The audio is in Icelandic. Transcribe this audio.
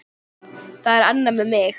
Það er annað með mig.